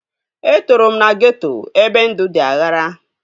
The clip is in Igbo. Etoro m na geeto ebe ndụ dị aghara